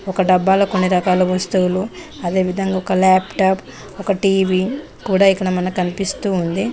ఒక డబ్బాలో కొన్ని రకాల వస్తువులు అదేవిధంగా ఒక లాప్టాప్ ఒక టీ_వీ కూడా ఇక్కడ మన కనిపిస్తూ ఉంది.